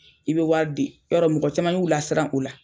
I bɛ wari di yɔrɔ mɔgɔ caman y'u la siran o la.